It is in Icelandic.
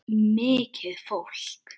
Mikið fólk.